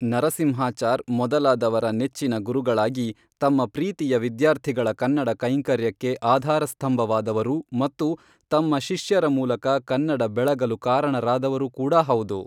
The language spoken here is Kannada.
ನರಸಿಂಹಾಚಾರ್ ಮೊದಲಾದವರ ನೆಚ್ಚಿನ ಗುರುಗಳಾಗಿ ತಮ್ಮ ಪ್ರೀತಿಯ ವಿದ್ಯಾರ್ಥಿಗಳ ಕನ್ನಡ ಕೈಂಕರ್ಯಕ್ಕೆ ಆಧಾರ ಸ್ಥಂಭವಾದವರು ಮತ್ತು ತಮ್ಮ ಶಿಷ್ಯರ ಮೂಲಕ ಕನ್ನಡ ಬೆಳಗಲು ಕಾರಣರಾದವರು ಕೂಡ ಹೌದು